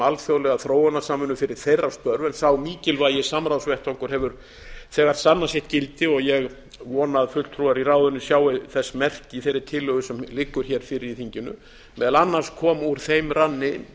alþjóðlega þróunarsamvinnu fyrir þeirra störf en sá mikilvægi samráðsvettvangur hefur þegar sannað sitt gildi og ég vona að fulltrúar í ráðinu sjái þess merki í þeirri tillögu sem liggur fyrir í þinginu meðal annars komu úr þeim ranni